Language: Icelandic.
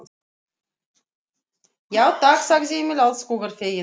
Já, takk, sagði Emil alls hugar feginn.